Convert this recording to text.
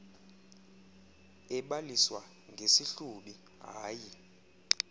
ebaliswa ngesihlubi hayi